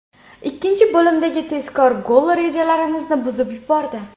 Ikkinchi bo‘limdagi tezkor gol rejalarimizni buzib yubordi.